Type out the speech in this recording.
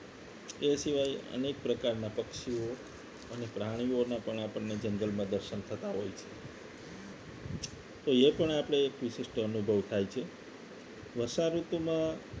એ સિવાય અનેક પ્રકારના પક્ષીઓ અને પ્રાણીઓના પણ આપણને જંગલમાં દર્શન થતા હોય છે તો એ પણ આપણે એક વિશિષ્ટ અનુભવ થાય છે વષાઋતુમાં